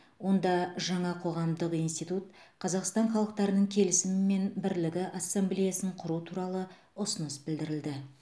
онда жаңа қоғамдық институт қазақстан халықтарының келісімі мен бірлігі ассамблеясын құру туралы ұсыныс білдірілді